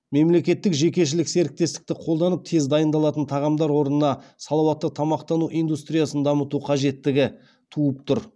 мемлекеттік жекешелік серіктестікті қолданып тез дайындалатын тағамдар орнына салауатты тамақтану индустриясын дамыту қажеттігі туып тұр